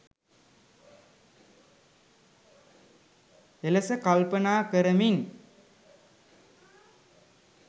එලෙස කල්පනා කරමින්